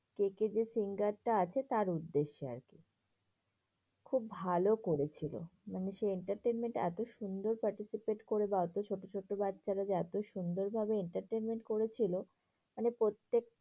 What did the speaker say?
KK যে singer টা আছে তার উদ্দেশ্যে আরকি। খুব ভালো করেছিল। মানে সেই entertainment টা এত সুন্দর participate করে বা অত ছোট ছোট বাচ্চারা যে এত সুন্দর ভাবে entertainment করেছিল। মানে প্রত্যেক